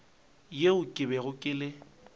yeo ke bego ke le